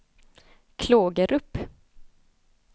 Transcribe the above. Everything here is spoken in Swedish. Klågerup